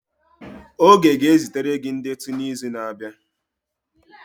Oge ga-ezitere gị ndetu n'izu na-abịa